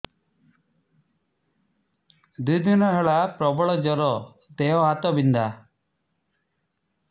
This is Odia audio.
ଦୁଇ ଦିନ ହେଲା ପ୍ରବଳ ଜର ଦେହ ହାତ ବିନ୍ଧା